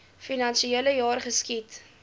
finansiele jaar geskied